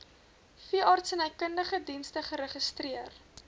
veeartsenykundige dienste geregistreer